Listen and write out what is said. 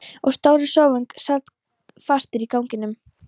Og stóri sófinn sat fastur í ganginum!!